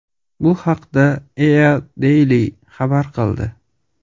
Bu haqda EADaily xabar qildi .